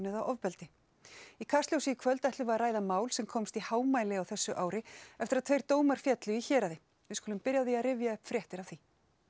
eða ofbeldi í Kastljósi í kvöld ætlum við að ræða mál sem komst í hámæli á þessu ári eftir að tveir dómar féllu í héraði við skulum byrja á því að rifja upp fréttir af því